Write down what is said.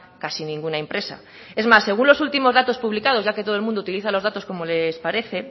casi ninguna empresa es más según los últimos datos publicados ya que todo el mundo utiliza los datos como les parece